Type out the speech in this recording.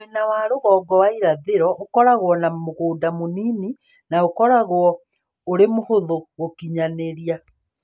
Mwena wa rũgongo wa irathĩro ũkoragwo na mũgũnda mũnini na ũkoragwo ũrĩ mũhũthũ gũkinyanĩrĩa.